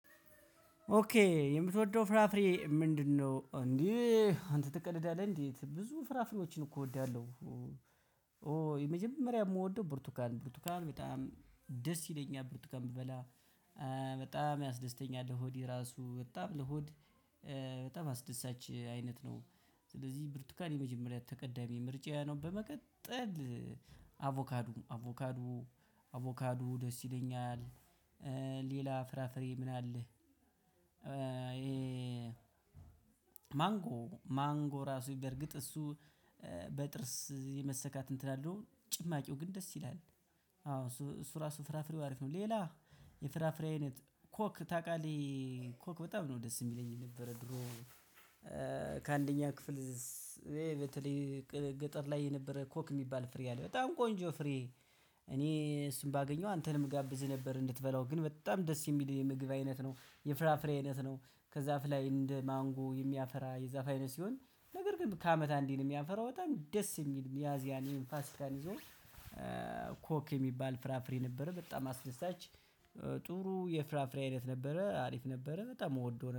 ኦኬ የምትወደው ፍራፍሬ ምንድነው? እንዴ አንተ ትቀልዳለህ እንዴ ብዙ ፍራፍሬዎችን እኮ እወዳለሁ። የመጀመሪያ የምወደው ብርቱካን ነው የብርቱካን ጣዕሙ ደስ ይለኛል ብርቱካን ብበላ በጣም ያስደስተኛል ሆዴ ራሱ በጣም ለሆድ በጣም አስደሳች አይነት ነው። ስለዚህ ብርቱካን የመጀመሪያ ተቀዳሚ ምርጫዬ ነው። በመቀጠል አቮካዶ አቮካዶ አቮካዶ ደስ ይለኛል። ሌላ ፍራፍሬ ምን አለ? ማንጎ ማንጎ ራሱ በርግጥ እሱ በጥርስ የመሰካት እንትን አለው ጭማቂው ግን ደስ ይላል። አዎ እሱ እሱ ራሱ ፍራፍሬው አሪፍ ነው። ሌላ የፍራፍሬ አይነት ኮክ ታውቃለህ? ይሄ ኮክ በጣም ነው ደስ የሚለኝ የነበረው ድሮ። ከአንደኛ ክፍል ይሄ በተለይ ገጠር ላይ የነበረ ኮክ የሚባል ፍሬ አለ በጣም ቆንጆ ፍሬ። እኔ እሱን ባገኘው አንተንም ጋብዝህ ነበር እንድትበላው ግን በጣም ደስ የሚል የምግብ አይነት ነው የፍራፍሬ አይነት ነው። ከዛፍ ላይ እንደ ማንጎ የሚያፈራ የዛፍ አይነት ሲሆን ነገር ግን ከአመት አንዴ ነው። የሚያፈራው በጣም ደስ የሚል ሚያዚያ እንዲሁም የፋሲካ ጊዜ። ኮክ የሚባል ፍራፍሬ ነበረ በጣም አስደሳች ጥሩ የፍራፍሬ አይነት ነበረ አሪፍ ነበረ በጣም እወደው ነበር